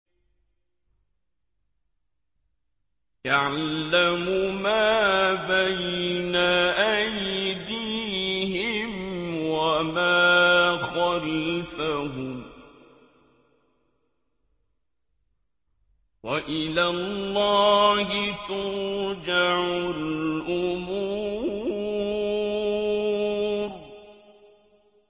يَعْلَمُ مَا بَيْنَ أَيْدِيهِمْ وَمَا خَلْفَهُمْ ۗ وَإِلَى اللَّهِ تُرْجَعُ الْأُمُورُ